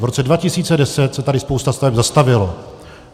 V roce 2010 se tady spousta staveb zastavila.